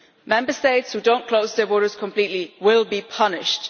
Member States who do not close their borders completely will be punished.